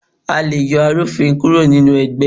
a lẹ yoo arú-ofín kúró ní ẹgbé